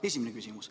Esimene küsimus.